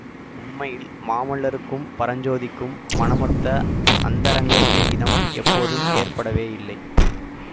உண்மையில் மாமல்லருக்கும் பரஞ்சோதிக்கும் மனமொத்த அந்தரங்க சிநேகிதம் எப்போதும் ஏற்படவேயில்லை